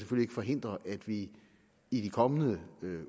forhindre at vi i de kommende